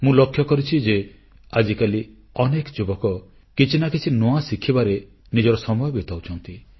ମୁଁ ଲକ୍ଷ୍ୟ କରିଛି ଯେ ଆଜିକାଲି ଅନେକ ଯୁବକ କିଛି ନା କିଛି ନୂଆ ଶିଖିବାରେ ନିଜର ସମୟ ବିତାଉଛନ୍ତି